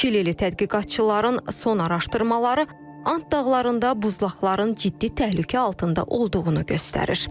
Çilili tədqiqatçıların son araşdırmaları Ant dağlarında buzlaqların ciddi təhlükə altında olduğunu göstərir.